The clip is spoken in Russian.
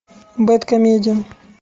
бэд комедиан